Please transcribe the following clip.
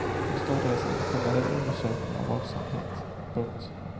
Då startades en generell undersökning av vad som hänt. punkt